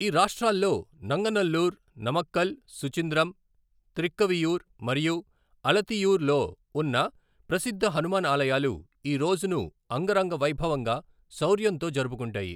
ఈ రాష్ట్రాల్లో, నంగనల్లూరు, నమక్కల్, సుచింద్రం, త్రిక్కవియూర్, మరియు అలతియూర్ లో ఉన్న ప్రసిద్ధ హనుమాన్ ఆలయాలు ఈ రోజును అంగరంగ వైభవంగా, శౌర్యంతో జరుపుకుంటాయి.